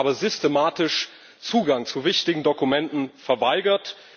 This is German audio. Uns wurde aber systematisch Zugang zu wichtigen Dokumenten verweigert.